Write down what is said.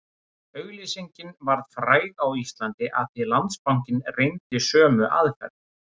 Auglýsingin varð fræg á Íslandi af því Landsbankinn reyndi sömu aðferð